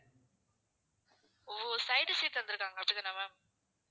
ஓ side seat தந்துருக்காங்க அப்படிதானே ma'am